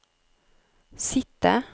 sitte